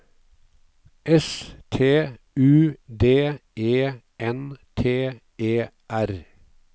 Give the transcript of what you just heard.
S T U D E N T E R